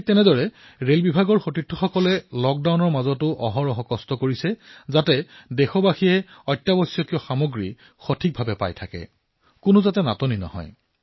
এইদৰে ৰেলৱেয়ে লকডাউনৰ সময়ছোৱাতো নিৰন্তৰে কাম কৰি আছে যাতে দেশৰ সাধাৰণ লোকৰ আৱশ্যকীয় সামগ্ৰীৰ অভাৱ নহয়